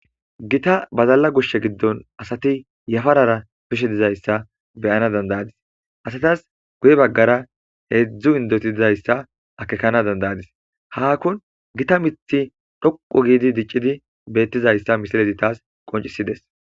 gita badalla gushshe giddon asati yafarara bishe dizayssa beyana dandayadis asatas guye baggara heedzdzu indoti dizayssa akekana dandayadis haakkon gita mithi dhoqu giidi diccidi beettizayssa misilezi taas qoncisides